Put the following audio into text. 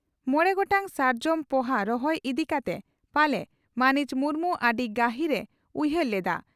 ᱢᱚᱲᱮ ᱜᱚᱴᱟᱝ ᱥᱟᱨᱡᱚᱢ ᱯᱚᱦᱟ ᱨᱚᱦᱚᱭ ᱤᱫᱤ ᱠᱟᱛᱮ ᱯᱟᱞᱮ ᱢᱟᱹᱱᱤᱡ ᱢᱩᱨᱢᱩ ᱟᱹᱰᱤ ᱜᱟᱹᱦᱤᱨ ᱮ ᱩᱭᱦᱟᱹᱨ ᱞᱮᱫᱼᱟ ᱾